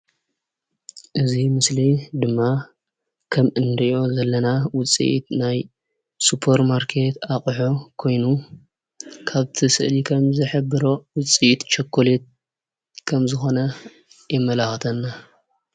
እዚ ምስሊ ድማ ከም እንሪኦ ዘለና ውፅኢት ናይ ሱፐርማርኬት ኣቑሑ ኮይኑ ካብቲ ስእሊ ከም ዝሕብሮ ውፅኢት ቸኮሌት ከምዝኮነ የመላኽተና ።